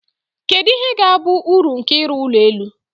kedu ihe ga-abụ uru nke ịrụ ụlọ elu